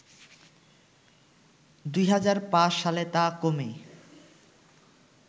২০০৫ সালে তা কমে